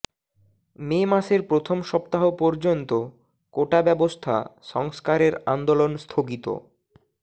মে মাসের প্রথম সপ্তাহ পর্যন্ত কোটাব্যবস্থা সংস্কারের আন্দোলন স্থগিত